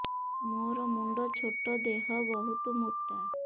ମୋର ମୁଣ୍ଡ ଛୋଟ ଦେହ ବହୁତ ମୋଟା